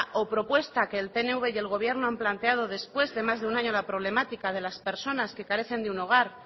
o propuesta que el pnv y el gobierno han planteado después de más de un año a la problemática de las personas que carecen de un hogar